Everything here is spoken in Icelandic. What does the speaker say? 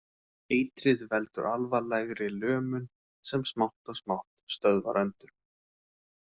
Eitrið veldur alvarlegri lömun, sem smátt og smátt stöðvar öndun.